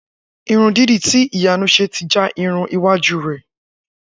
Irun dídì tí Ìyanu s̩e ti já irun iwájú rè̩